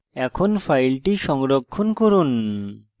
এখন file সংরক্ষণ করুন